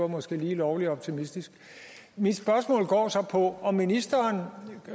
måske var lige lovlig optimistisk mit spørgsmål går så på om ministeren